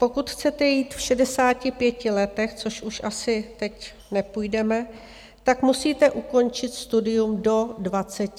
Pokud chcete jít v 65 letech, což už asi teď nepůjdeme, tak musíte ukončit studium do 25 let.